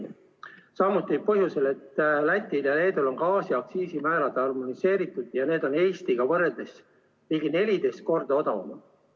Seda samuti põhjusel, et Lätil ja Leedul on gaasiaktsiisi määrad harmoneeritud ja need on Eestiga võrreldes ligi 14 korda odavamad.